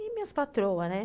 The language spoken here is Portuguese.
E minhas patroas, né?